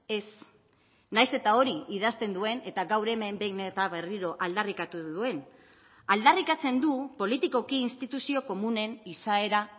ez nahiz eta hori idazten duen eta gaur hemen behin eta berriro aldarrikatu duen aldarrikatzen du politikoki instituzio komunen izaera